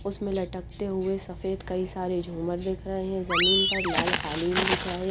उसमे लटक टे हुए सफ़ेद कई सारे जुमर दिख रहे है ज़मीन पर लाल कालीन बिछा है।